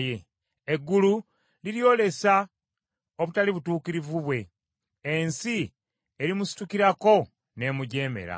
Eggulu liryolesa obutali butuukirivu bwe; ensi erimusitukirako n’emujeemera.